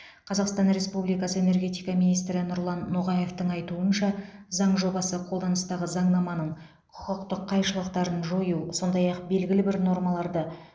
қазақстан республикасы энергетика министрі нұрлан ноғаевтың айтуынша заң жобасы қолданыстағы заңнаманың құқықтық қайшылықтарын жою сондай ақ белгілі бір нормаларды